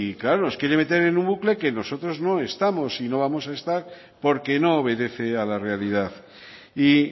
claro nos quiere meter en un bucle que nosotros no estamos y no vamos a estar porque no obedece a la realidad y